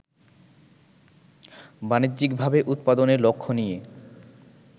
বাণিজ্যিকভাবে উৎপাদনের লক্ষ্য নিয়ে